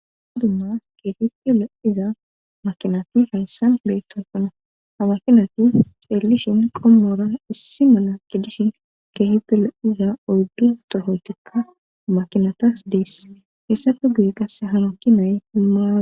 hadumma keefitilo iza makinati haysan bey kampana ha mashinati xeellishin qommora issi mala gidishin keehitilo iza ordu tohotikka makinatas dees hessafe guye qasse hanuki nay himaawa